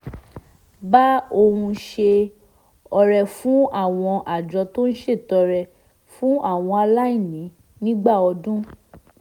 bá òun ṣe ọrẹ fún àwọn àjọ tó ń ṣètọrẹ fún àwọn aláìní nígbà ọdún